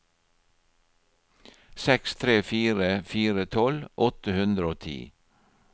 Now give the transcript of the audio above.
seks tre fire fire tolv åtte hundre og ti